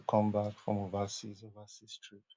come back from overseas overseas trip